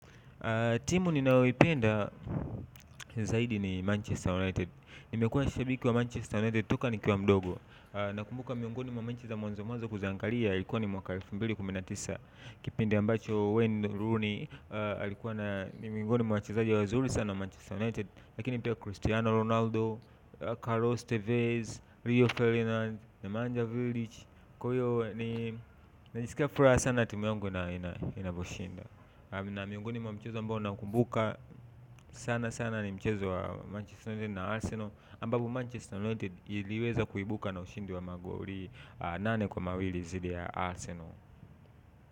Timu ninayoipenda zaidi ni Manchester United. Nimekuwa ni shabiki wa Manchester United toka nikiwa mdogo. Nakumbuka miongoni mwa mechi za mwanzo mwanzo kuziangalia ilikuwa ni mwaka elfu mbili kumi na tisa. Kipindi ambacho Wayne Rooney alikuwa na, ni miongoni mwa wachezaji wazuri sana wa Manchester United. Lakini pia Christiano Ronaldo, Carlos Tevez, Rio Ferdinand, Nemanja Village. Kwa hiyo najisikia furaha sana timu yangu na inaposhinda. Na miongoni mwa mchezo ambao naukumbuka sana sana ni mchezo wa Manchester United na Arsenal ambapo Manchester United iliweza kuibuka na ushindi wa magoli nane kwa mawili zidi ya Arsenal.